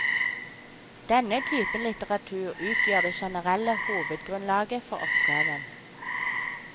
Denne typen litteratur utgjør det generelle hovedgrunnlaget for oppgaven.